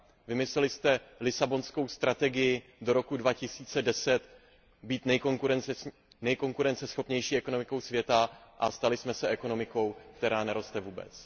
Vymysleli jste Lisabonskou strategii do roku 2010, být nejkonkurenceschopnější ekonomikou světa a stali jsme se ekonomikou, která neroste vůbec.